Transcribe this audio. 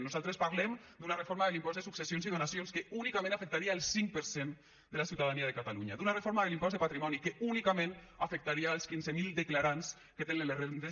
nosaltres parlem d’una reforma de l’impost de successions i donacions que únicament afectaria el cinc per cent de la ciutadania de catalunya d’una reforma de l’impost de patrimoni que únicament afectaria els quinze mil declarants que tenen les rendes